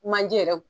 Manje yɛrɛ